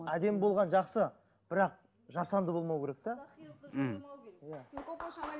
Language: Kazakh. әдемі болған жақсы бірақ жасанды болмау керек те